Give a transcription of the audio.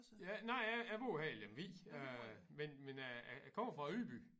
Ja nej jeg jeg bor her i Lemvig men men jeg jeg kommer fra Ydby